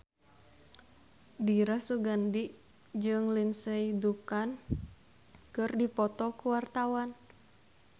Dira Sugandi jeung Lindsay Ducan keur dipoto ku wartawan